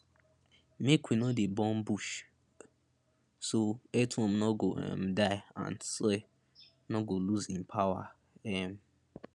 make we no dey burn bush so earthworm no go um die and soil no go lose im power um